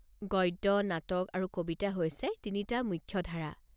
গদ্য, নাটক আৰু কবিতা হৈছে তিনিটা মুখ্য ধাৰা।